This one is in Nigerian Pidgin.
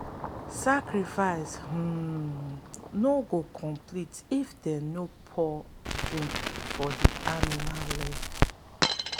sacrifice um no go complete if them no pour drink for the animal leg.